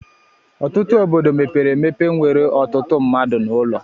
Ọtụtụ obodo mepere emepe nwere ọtụtụ mmadụ na ụlọ